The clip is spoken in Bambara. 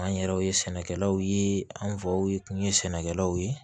An yɛrɛw ye sɛnɛkɛlaw ye an faw kun ye sɛnɛkɛlaw ye